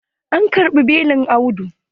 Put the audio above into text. An karɓi belin Audu.